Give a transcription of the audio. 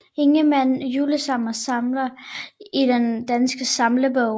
Ingemann Julesalmer Salmer i Den Danske Salmebog